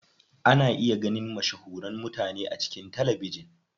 Ana iya ganin mashahuran mutane a cikin talabijin.